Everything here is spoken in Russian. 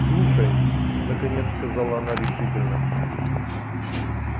слушай наконец сказала она решительно